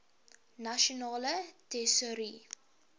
nasionale tesourie